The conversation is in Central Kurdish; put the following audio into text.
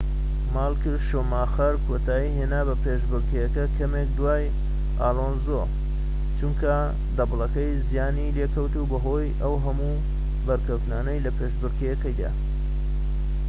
مایکل شوماخەر کۆتایی هێنا بە پێشبڕکێکە کەمێك دوای ئالۆنزۆ چونکە دەبڵەکەی زیانی لێکەوت بەهۆی ئەو هەموو بەرکەوتنانەوە لە پێشبڕکێکەدا